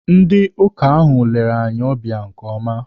Ndị ọka ahụ lere anyi ọbịa nke ọma.